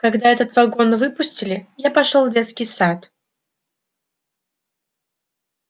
когда этот вагон выпустили я пошёл в детский сад